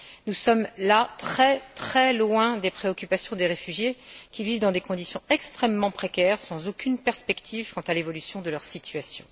Nous sommes très très loin des préoccupations des réfugiés qui vivent dans des conditions extrêmement précaires, sans aucune perspective quant à l'évolution de leur situation.